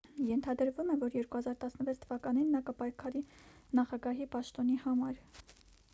ենթադրվում է որ 2016 թվականին նա կպայքարի նախագահի պաշտոնի համար